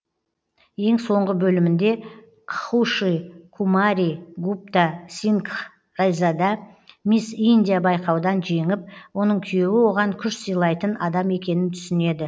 ең соңғы бөлімінде кхуши кумари гупта сингх райзада мисс индия байқаудан женіп оның күйеуі оған күш сыйлайтын адам екенің түсінеді